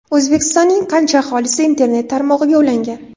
O‘zbekistonning qancha aholisi internet tarmog‘iga ulangan?.